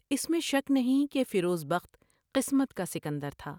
اس میں شک نہیں کہ فیروز بخت قسمت کا سکندر تھا ۔